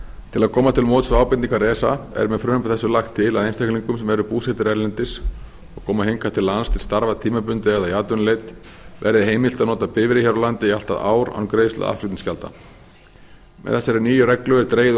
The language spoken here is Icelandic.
til að koma til móts við ábendingar esa er með frumvarpi þessu lagt til að einstaklingar sem eru búsettir erlendis og koma hingað til lands til starfa tímabundið eða í atvinnuleit verði verði heimilt að nota bifreið hér á landi í allt að ár án greiðslu aðflutningsgjalda með þessari nýju reglu er dregið úr